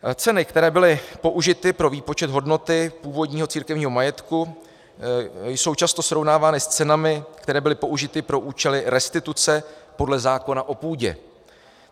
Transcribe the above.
Ceny, které byly použity pro výpočet hodnoty původního církevního majetku, jsou často srovnávány s cenami, které byly použity pro účely restituce podle zákona o půdě.